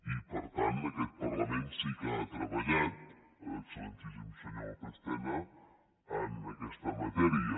i per tant aquest parlament sí que ha treballat excel·lentíssim senyor lópez tena en aquesta matèria